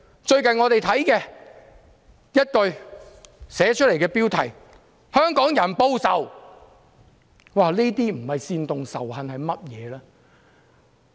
最近我們看到其中一句標題是"香港人報仇"，這些不是煽動仇恨是甚麼？